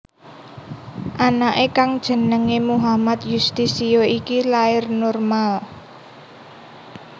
Anake kang jenéngé Muhammad Yustisio iki lair normal